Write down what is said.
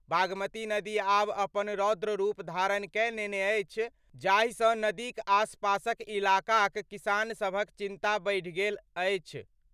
बागमती नदी आब अपन रौद्र रूप धारण कए लेने अछि, जाहि सं नदीक आसपासक इलाकाक किसान सभक चिंता बढ़ि? गेल अछि।